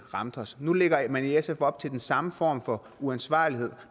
ramte os nu lægger man i sf op til den samme form for uansvarlighed